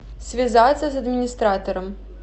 связаться с администратором